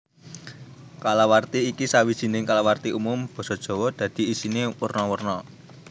Kalawarti iki sawijining kalawarti umum basa Jawa dadi isiné werna werna